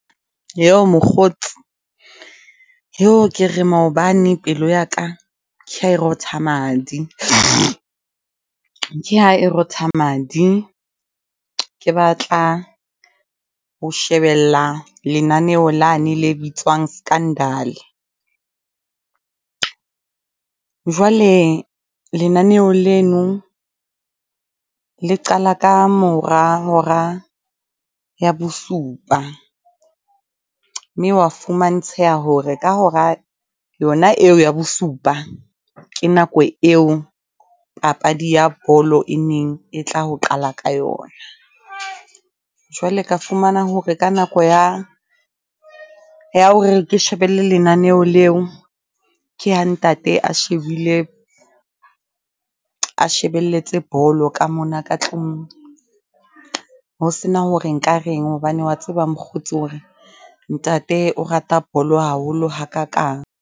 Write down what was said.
Mokgotsi, ke re maobane pelo ya ka ke ha e rotha madi. Ke ha e rotha madi, ke batla ho shebella lenaneo lane le bitswang Scandal. Jwale lenaneo leno le qala ka mora hora ya bosupa, mme hwa fumantsheha hore ka hora yona eo ya bosupa. Ke nako eo papadi ya bolo e neng e tla ho qala ka yona. Jwale ka fumana hore ka nako ya, ya hore ke shebelle lenaneo leo. Ke ha ntate a shebile a shebelletse bolo ka mona ka tlung, ho sena hore nka reng, hobane wa tseba mokgotsi hore ntate o rata bolo haholo hakakang.